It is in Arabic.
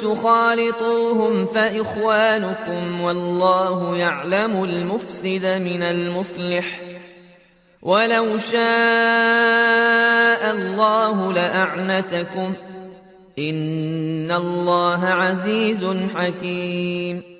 تُخَالِطُوهُمْ فَإِخْوَانُكُمْ ۚ وَاللَّهُ يَعْلَمُ الْمُفْسِدَ مِنَ الْمُصْلِحِ ۚ وَلَوْ شَاءَ اللَّهُ لَأَعْنَتَكُمْ ۚ إِنَّ اللَّهَ عَزِيزٌ حَكِيمٌ